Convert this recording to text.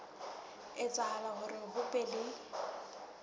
etsahala hore ho be le